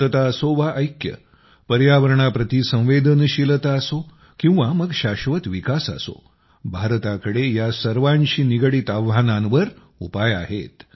शांतता असो वा ऐक्य पर्यावरणाप्रती संवेदनशीलता असो किंवा मग शाश्वत विकास असो भारताकडे या सर्वांशी निगडीत आव्हानांवर उपाय आहेत